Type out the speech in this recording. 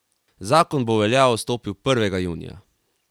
Zakon bo v veljavo stopil prvega junija.